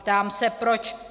Ptám se proč.